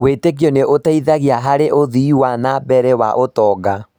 Wĩĩtĩkio nĩ ũteithagia harĩ ũthii wa na mbere wa ũtonga.